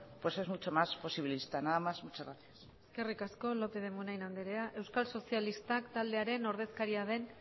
pues es mucho más posibilista nada más muchas gracias eskerrik asko lópez de munain anderea euskal sozialistak taldearen ordezkaria den